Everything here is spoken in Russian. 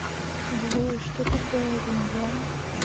джой что такое авиньон